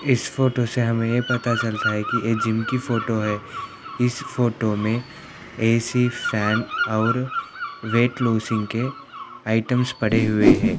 इस फोटो से हमें ये पता चलता है की ये जिम की फोटो है|